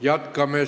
Jätkame.